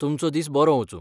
तुमचो दीस बरो वचूं.